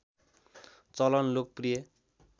चलन लोकप्रिय